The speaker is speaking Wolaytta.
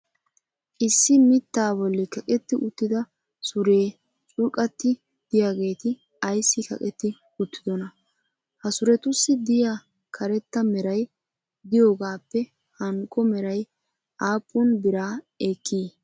issi mitaa boli kaqetti uttida sure curqqati diyaageeti ayssi kaqetti uttidonaa? ha surettussi diya karetta meray diyoogaappe hankko meray aappun biraa ekkii?